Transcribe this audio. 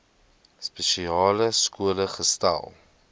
spesiale skole gesetel